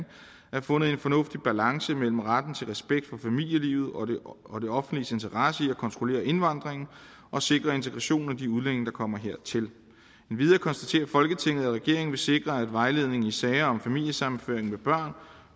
er fundet en fornuftig balance mellem retten til respekt for familielivet og det offentliges interesse i at kontrollere indvandringen og sikre integrationen af de udlændinge der kommer hertil endvidere konstaterer folketinget at regeringen vil sikre at vejledningen i sager om familiesammenføring med børn